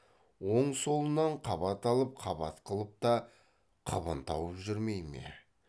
оң солынан қабат алып қабат қылып та қыбын тауып жүрмей ме